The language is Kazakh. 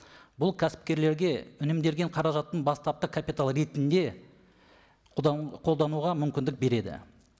бұл кәсіпкерлерге үнемделген қаражаттың бастапқы капиталы ретінде қолдануға мүмкіндік береді